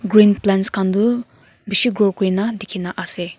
green plants kan tu bishi grow kurina tiki na ase.